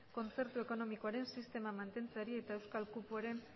kontzertu ekonomikoaren sistema mantentzeari eta euskal kupoaren